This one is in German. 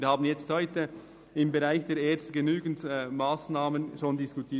Wir haben heute im Bereich der ERZ schon über viele Massnahmen diskutiert.